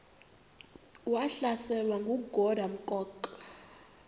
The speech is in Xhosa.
wahlaselwa nanguadam kok